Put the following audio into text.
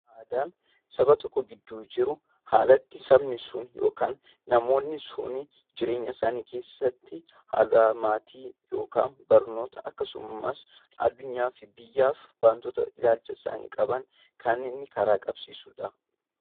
Aadaan saba tokko gidduu jiru haala itti sabni sun yookaan namoonni sun jireenya isaanii keessatti hanga maatii yookaan barnoota kkasumas addunyaa fi biyyaaf waantota isaan ilaalcha qaban kan inni karaa qabsiisudha.